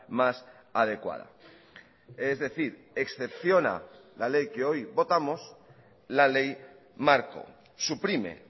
más adecuada es decir excepciona la ley que hoy votamos la ley marco suprime